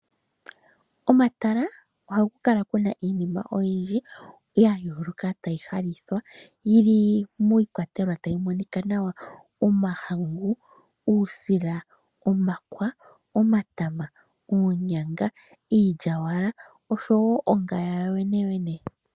Omatala ohaku kala kuna iinima oyindji ya yooloka tayi landithwa yili miikwatelwa tayi monika nawa. Ngaashi omahangu, uusila, omakwa, omatama, oonyanga, iilyaalyaka oshowo ongaya yoyene yene.